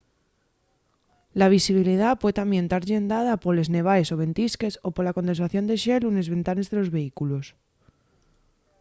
la visibilidá pue tamién tar llendada poles nevaes o ventisques o pola condensación de xelu nes ventanes de los vehículos